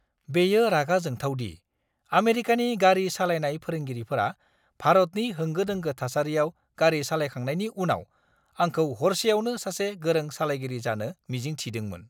बेयो रागा जोंथाव दि आमेरिकानि गारि सालायनाय फोरोंगिरिफोरा भारतनि होंगो-दोंगो थासारियाव गारि सालायखांनायनि उनाव आंखौ हरसेआवनो सासे गोरों सालायगिरि जानो मिजिं थिदोंमोन!